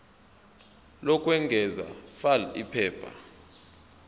lokwengeza fal iphepha